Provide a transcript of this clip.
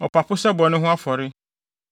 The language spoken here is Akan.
ɔpapo sɛ bɔne ho afɔre